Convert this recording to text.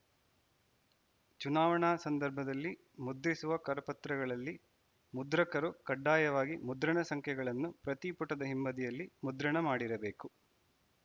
ಚುನಾವಣಾ ಸಂದರ್ಭದಲ್ಲಿ ಮುದ್ರಿಸುವ ಕರಪತ್ರಗಳಲ್ಲಿ ಮುದ್ರಕರು ಕಡ್ಡಾಯವಾಗಿ ಮುದ್ರಣ ಸಂಖ್ಯೆಗಳನ್ನು ಪ್ರತಿ ಪುಟದ ಹಿಂಬದಿಯಲ್ಲಿ ಮುದ್ರಣ ಮಾಡಿರಬೇಕು